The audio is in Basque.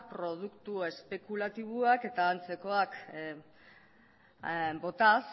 produktu espekulatiboak eta antzekoak botaz